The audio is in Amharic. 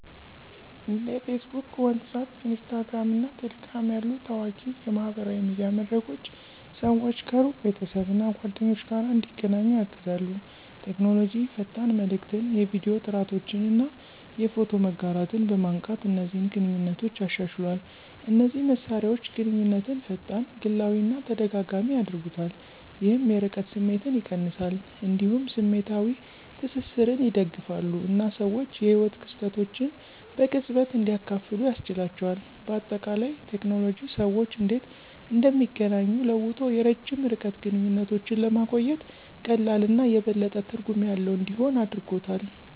እንደ Facebook፣ WhatsApp፣ Instagram እና Telegram ያሉ ታዋቂ የማህበራዊ ሚዲያ መድረኮች ሰዎች ከሩቅ ቤተሰብ እና ጓደኞች ጋር እንዲገናኙ ያግዛሉ። ቴክኖሎጂ ፈጣን መልዕክትን፣ የቪዲዮ ጥሪዎችን እና የፎቶ መጋራትን በማንቃት እነዚህን ግንኙነቶች አሻሽሏል። እነዚህ መሳሪያዎች ግንኙነትን ፈጣን፣ ግላዊ እና ተደጋጋሚ ያደርጉታል፣ ይህም የርቀት ስሜትን ይቀንሳል። እንዲሁም ስሜታዊ ትስስርን ይደግፋሉ እና ሰዎች የህይወት ክስተቶችን በቅጽበት እንዲያካፍሉ ያስችላቸዋል። በአጠቃላይ፣ ቴክኖሎጂ ሰዎች እንዴት እንደሚገናኙ ለውጦ የረጅም ርቀት ግንኙነቶችን ለማቆየት ቀላል እና የበለጠ ትርጉም ያለው እንዲሆን አድርጎታል።